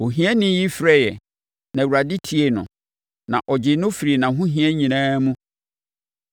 Ohiani yi frɛeɛ, na Awurade tiee no; na ɔgyee no firii nʼahohia nyinaa mu.